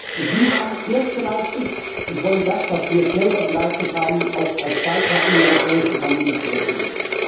Und Sie haben erst geleistet und wollen das, was Sie jetzt selber geleistet haben, auch als Beitrag in die europäische Familie zurückgeben.